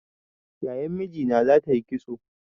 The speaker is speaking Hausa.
Yayan mijina za ta yi kitso